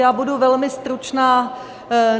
Já budu velmi stručná.